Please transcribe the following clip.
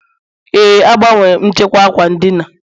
Ee, agbanwere m nchekwa ákwà ndina